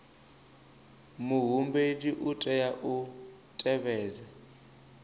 muhumbeli u tea u tevhedza